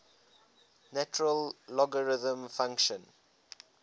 natural logarithm function